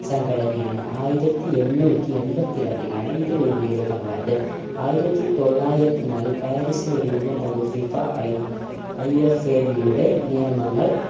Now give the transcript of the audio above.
സംഘടനയാണ് ആയിരത്തി എണ്ണൂറ്റി എൺമ്പത്തി രണ്ടിലാണ് ഇത് രൂപീകൃതമായത് ആയിരത്തി തൊള്ളായിരത്തി നാല് പാരീസിൽ രുപം കൊണ്ട് FIFA ഐ IFAB യുടെ നിയമങ്ങൾ